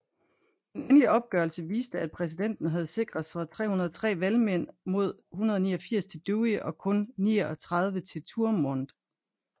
Den endelige opgørelse viste at præsidenten havde sikret sig 303 valgmænd mod 189 til Dewey og kun 39 til Thurmond